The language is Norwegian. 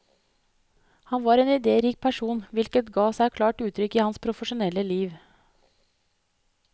Han var en idérik person, hvilket ga seg klart uttrykk i hans profesjonelle liv.